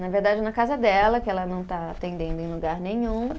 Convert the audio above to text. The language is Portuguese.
Na verdade na casa dela, que ela não está atendendo em lugar nenhum.